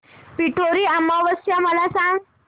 पिठोरी अमावस्या मला सांग